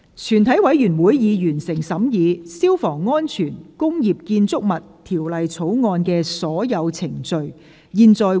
全體委員會已完成審議《消防安全條例草案》的所有程序。